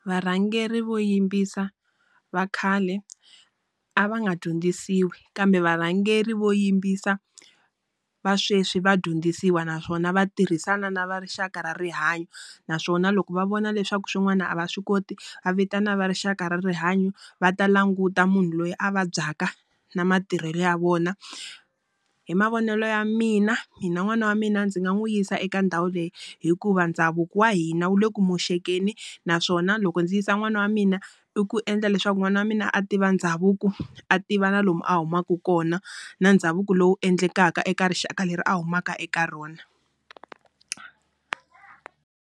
Varhangeri vo yimbisa va khale a va nga dyondzisiwi kambe varhangeri vo yimbisa va sweswi va dyondzisiwa naswona va tirhisana na va rixaka ra rihanyo. Naswona loko va vona leswaku swin'wana a va swi koti, va vitana va rixaka ra rihanyo va ta languta munhu loyi a vabyaka na matirhelo ya vona. Hi mavonelo ya mina mina n'wana wa mina ndzi nga n'wi yisa eka ndhawu leyi hikuva ndhavuko wa hina wu le ku moxekeni, naswona loko ndzi yisa n'wana wa mina i ku endla leswaku n'wana wa mina a tiva ndhavuko. A tiva na lomu a humaka kona na ndhavuko lowu endlekaka eka rixaka leri a humaka eka rona.